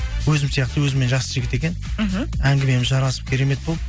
өзім сияқты өзіммен жасты жігіт екен мхм әңгімеміз жарасып керемет болды